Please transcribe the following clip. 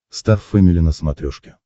стар фэмили на смотрешке